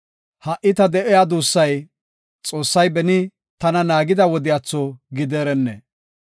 Ha77i ta de7iya duussay, Xoossay beni tana naagida wodiyatho gideerenne!